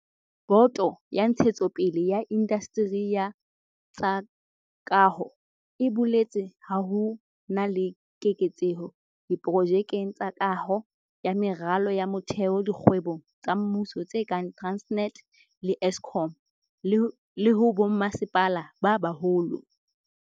Boto ya Ntshetsopele ya Indasteri ya tsa Kaho e boletse ha ho na le keketseho diprojekeng tsa kaho ya meralo ya motheo dikgwebong tsa mmuso tse kang Transnet le Eskom, le ho bommasepala ba baholo.